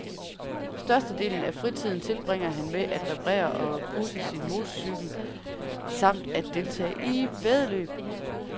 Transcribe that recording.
Størstedelen af fritiden tilbringer han med at reparere og pudsesin motorcykel, samt at deltage i væddeløb.